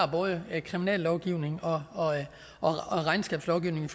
både har kriminallovgivning og og regnskabslovgivning i